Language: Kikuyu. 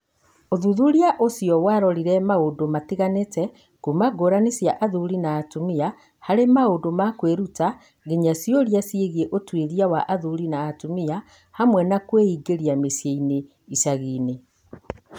ũthuthuria ũcio warorire maũndũ matiganĩte, kuuma ngũrani cia athuri na atumia harĩ maũndũ ma kwĩruta nginya ciũria ciĩgiĩ ũtuĩria wa athuri na atumia hamwe na kwĩingĩria mĩciĩ-inĩ na icagi-inĩ.